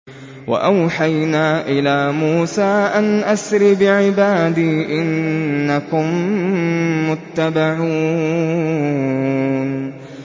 ۞ وَأَوْحَيْنَا إِلَىٰ مُوسَىٰ أَنْ أَسْرِ بِعِبَادِي إِنَّكُم مُّتَّبَعُونَ